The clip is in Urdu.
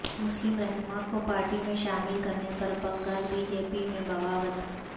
مسلم رہنما کو پارٹی میں شامل کرنے پر بنگال بی جے پی میں بغاوت